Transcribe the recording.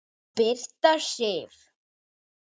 Birta Sif.